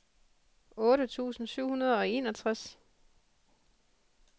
otte tusind syv hundrede og enogtres